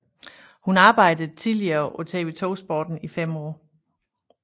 Hun arbejdede tidligere på TV 2 Sporten i 5 år